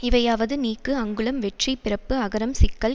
இவையாவது நீக்கு அங்குளம் வெற்றி பிறப்பு அகரம் சிக்கல்